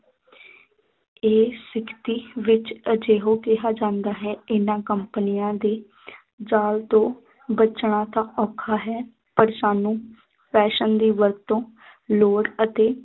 ਇਹ ਸਿਖਤੀ ਵਿੱਚ ਅਜਿਹੋ ਕਿਹਾ ਜਾਂਦਾ ਹੈ ਇਹਨਾਂ ਕੰਪਨੀਆਂ ਦੇ ਜਾਲ ਤੋਂ ਬਚਣਾ ਤਾਂ ਔਖਾ ਹੈ ਪਰ ਸਾਨੂੰ fashion ਦੀ ਵਰਤੋਂ ਲੌੜ ਅਤੇ